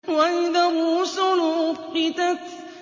وَإِذَا الرُّسُلُ أُقِّتَتْ